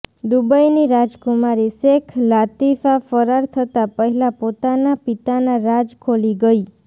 દુબઈની રાજકુમારી શેખ લાતીફા ફરાર થતા પહેલા પોતાના પિતાના રાજ ખોલી ગયી